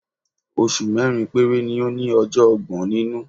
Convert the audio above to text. Oṣù mẹ́rin péré ni ó ní ọjọ́ ọgbọ̀n nínú.